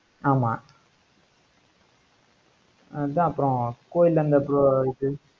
ஆமா அதான் அப்புறம் கோயில்